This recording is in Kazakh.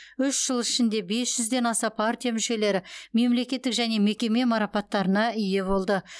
үш жыл ішінде бес жүзден аса партия мүшелері мемлекеттік және мекеме марапаттарына ие болды